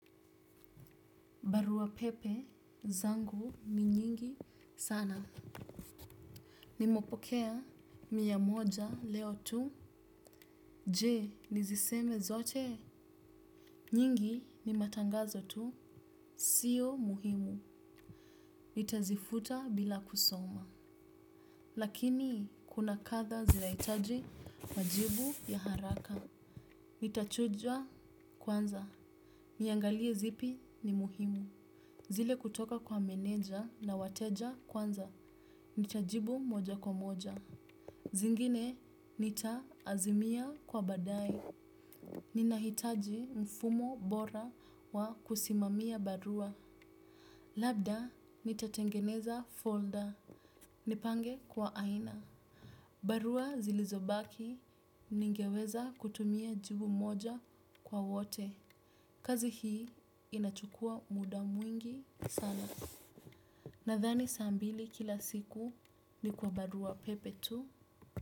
Barua pepe zangu ni nyingi sana. Nimepokea mia moja leo tu. Jee, nizisome zote. Nyingi ni matangazo tu. Sio muhimu. Nitazifuta bila kusoma. Lakini, kuna kadhaa zinahitaji majibu ya haraka. Nitachuja kwanza, niangalie zipi ni muhimu. Zile kutoka kwa meneja na wateja kwanza. Nitajibu moja kwa moja. Zingine nita-azimia kwa baadae. Ninahitaji mfumo bora wa kusimamia barua. Labda nitatengeneza folda, nipange kwa aina. Barua zilizobaki ningeweza kutumia jibu moja kwa wote. Kazi hii inachukua muda mwingi sana. Nadhani saa mbili kila siku ni kwa barua pepe tu.